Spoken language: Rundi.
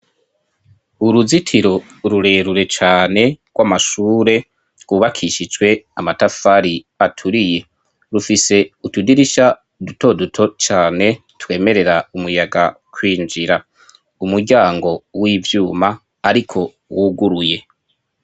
Uruzitiro rurerure cane rw'amashure rwubakishijwe amatafari aturiye. Rufise utudirisha duto duto cane twemerera umuyaga kwinjira. Umuryango w'ivyuma ariko wuguruye.